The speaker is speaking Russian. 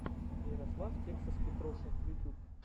ярослав тексас петрушин ютьюб